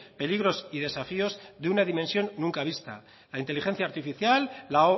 peligros y desafíos de una dimensión nunca vista la inteligencia artificial la